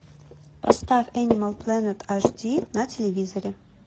поставь энимал плэнет аш ди на телевизоре